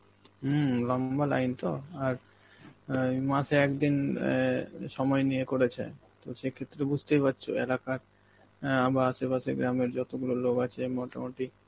হম লম্বা line তো আর অ্যাঁ মাসে একদিন অ্যাঁ সময় নিয়ে করেছে, তো সেই ক্ষেত্রে বুঝতেই পারছ একাকার~ অ্যাঁ বা আশেপাশে গ্রামের যতগুলো লোক আছে মোটামুটি,